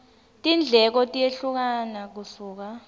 tindleko tiyehlukana kusuka